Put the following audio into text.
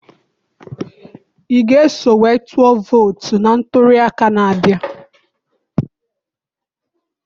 I ga eso wee tụọ vootu na ntụliaka a na-abịa?